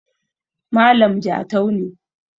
malam Jatau ne